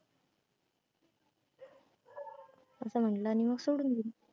असं म्हनलं आणि मग सोडून दिल.